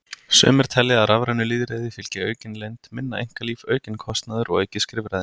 Sumir telja að rafrænu lýðræði fylgi aukin leynd, minna einkalíf, aukinn kostnaður og aukið skrifræði.